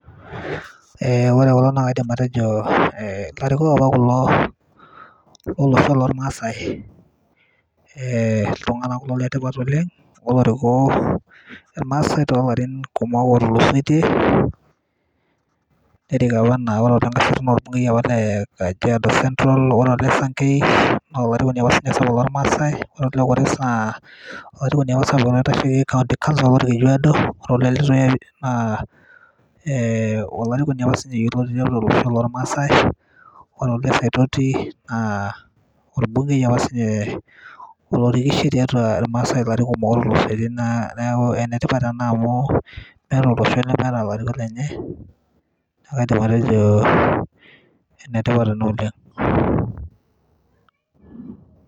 Ore kulo naa kaidim atejo ilarikok apa apa kulo lo losho lolmaasai. Iltung'ana kulo le tipat oleng' otoriko ilmaasai toolarin kumok oleng' otulisoitie. Nerik apa naa Olenkaseri naa olbungei apalee Kajiado Central, orer Ole Sankei naa olarikoni apa sapuk loomaasai, ore Oe Kores naa olarikoni apa sii ninye oitasheki County Counsil Olkejuado, ore Ole Letuya naa olarikoni apa sii ninye yioloti loyiolo olosho lolmaasai, ore Ole Saitoti naa olbungei apa sii ninye otorikishee tiatua ilmaasai ilarin kumok otulusoitie. Neaku enetipat ena amu meeta olosho lemeeta ilarikok lenye, kake aidim atejo enetipata ena oleng'.